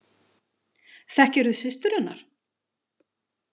Þekkirðu systur hennar?